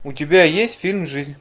у тебя есть фильм жизнь